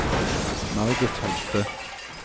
Margit Holthe